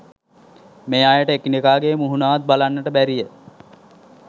මේ අයට එකිනෙකාගේ මුහුණවත් බලන්නට බැරිය.